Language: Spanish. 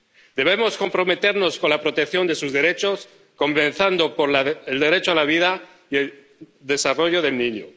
Debemos comprometernos con la protección de sus derechos, comenzando por el derecho a la vida y el desarrollo del niño.